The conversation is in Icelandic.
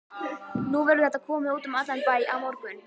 Nú verður þetta komið út um allan bæ á morgun.